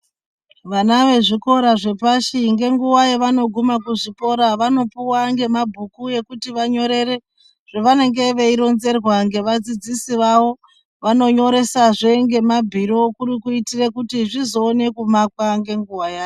Vana vezvikora zvepashi ngenguva yavanoguma kuzvikora vanopuwa ngema bhuku ekuti vanyorere zvavanenge veironzerwa ngeva dzidzisi vavo, vanonyoresazve ngema bhilo kuri kuitire kuti zvizoona kumakwa ngenguwa yazvo.